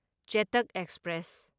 Chetak express